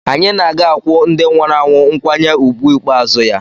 Anyị na a ga-akwụ ndị nwụrụ anwụ nkwanye ùgwù ikpeazụ ya.